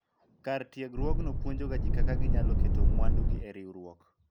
kar tiegruokno puonjo ga jii kaka ginyalo keto mwandu e riwruok